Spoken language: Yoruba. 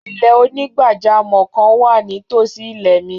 Ilẹ̀-onígbàjàmọ́ kan wà ní tosí ilẹ̀ mi.